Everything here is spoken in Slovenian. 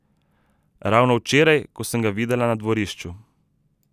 Ravno včeraj, ko sem ga videla na dvorišču.